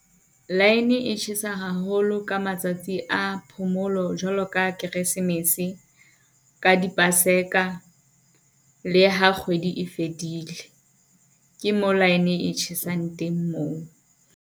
Line e tjhesa haholo ka matsatsi a phomolo jwalo ka Keresemese ka di-Paseka. Le ha kgwedi e fedile, ke mo line e tjhesang teng moo.